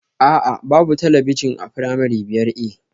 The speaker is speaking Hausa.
A'a, babu talabijin a firamare biyar A